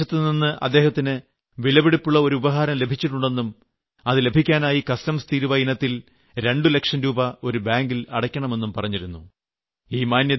അതിൽ വിദേശത്തു നിന്ന് അദ്ദേഹത്തിന് വിലപിടിപ്പുളള ഒരു ഉപഹാരം ലഭിച്ചിട്ടുണ്ടെന്നും അത് ലഭിക്കാനായി കസ്റ്റംസ് തീരുവ ഇനത്തിൽ രണ്ട് ലക്ഷം രൂപ ഒരു ബാങ്കിൽ അടയ്ക്കണമെന്നും പറഞ്ഞിരുന്നു